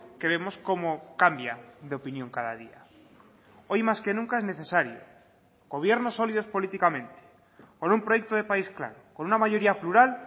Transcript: que vemos cómo cambia de opinión cada día hoy más que nunca es necesario gobiernos sólidos políticamente con un proyecto de país claro con una mayoría plural